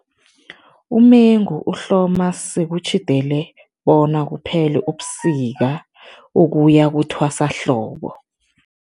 Umengu uhloma sekutjhidele bona kuphele ubusika, ukuya kuthwasahlobo.